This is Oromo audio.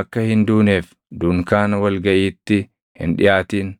akka hin duuneef dunkaana wal gaʼiitti hin dhiʼaatin.